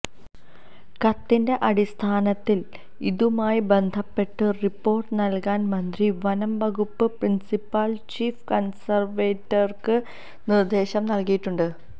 കത്തിന്റെ അടിസ്ഥാനത്തിൽ ഇതുമായി ബന്ധപ്പെട്ട് റിപ്പോർട്ട് നൽകാൻ മന്ത്രി വനംവകുപ്പ് പ്രിൻസിപ്പൽ ചീഫ് കൺസർവേറ്റർക്ക് നിർദേശം നൽകിയിട്ടുണ്ട്